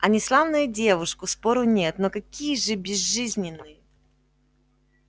они славные девушку спору нет но какие же безжизненные